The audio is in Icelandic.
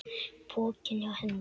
Pokinn hjá Hend